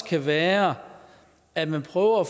kan være at man får